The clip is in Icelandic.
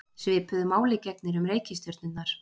Svipuðu máli gegnir um reikistjörnurnar.